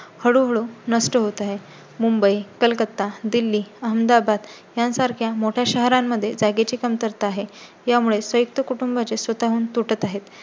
हळूहळू नष्ट होत आहे. मुंबई, कलकत्ता, दिल्ली, अहमदाबाद यांसारख्या मोठय़ा शहरां मध्ये जागे ची कमतरता आहे. यामुळे संयुक्त कुटुंबाचे स्वतःहून तुटत आहेत